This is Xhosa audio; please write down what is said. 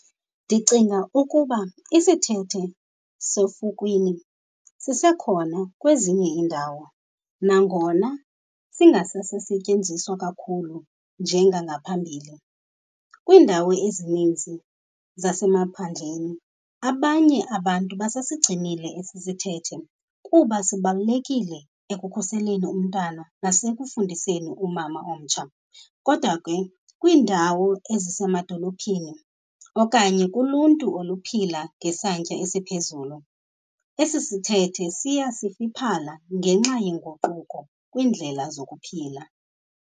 Ndicinga ukuba isithethe sefukwini sisekhona kwezinye iindawo, nangona singasasasetyenziswa kakhulu njengangaphambile. Kwiindawo ezininzi zasemaphandleni abanye abantu basasigcinile esisithethe kuba sibalulekile ekukhuseleni umntana nasekufundiseni umama omtsha. Kodwa ke kwiindawo ezisemadolophini okanye kuluntu oluphila ngesantya esiphezulu, esi sithethe siya sifiphala ngenxa yenguquko kwiindlela zokuphila.